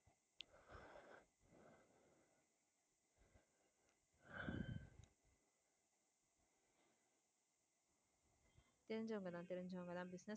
தெரிஞ்சவங்க தான் தெரிஞ்சவங்க தான் business